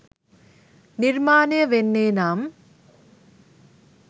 නිර්මාණය වෙන්නේ නම්